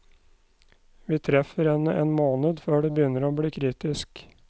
Vi treffer henne en måned før det begynner å bli kritisk.